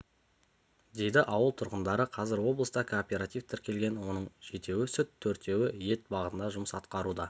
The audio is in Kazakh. дейді ауыл тұрғындары қазір облыста кооператив тіркелген оның жетеуі сүт төртеуі ет бағытында жұмыс атқаруда